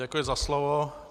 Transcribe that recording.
Děkuji za slovo.